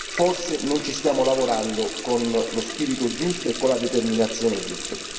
Forse non ci stiamo lavorando con lo spirito giusto e con la determinazione giusta.